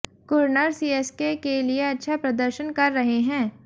Curran CSK के लिए अच्छा प्रदर्शन कर रहे हैं